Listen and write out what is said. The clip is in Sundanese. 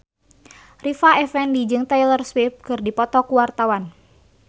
Rita Effendy jeung Taylor Swift keur dipoto ku wartawan